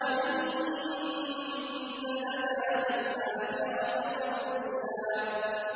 وَإِنَّ لَنَا لَلْآخِرَةَ وَالْأُولَىٰ